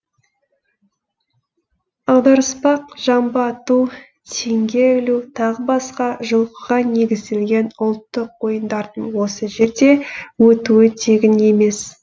аударыспақ жамбы ату теңге ілу тағы басқа жылқыға негізделген ұлттық ойындардың осы жерде өтуі тегін емес